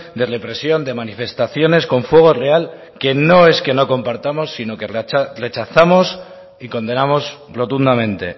de represión de manifestaciones con fuego real que no es que no compartamos sino que rechazamos y condenamos rotundamente